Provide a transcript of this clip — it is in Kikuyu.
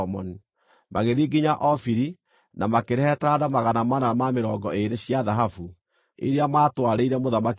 Magĩthiĩ nginya Ofiri, na makĩrehe taranda magana mana ma mĩrongo ĩĩrĩ cia thahabu, iria maatwarĩire Mũthamaki Solomoni.